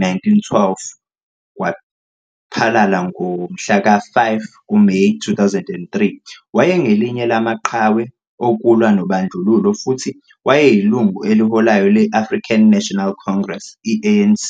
1912 waphalala ngomhla ka-5 kuMeyi 2003, wayengelinye lamaqhawe okulwa nobandlululo futhi wayeyilungu eliholayo le-African National Congress, i-ANC.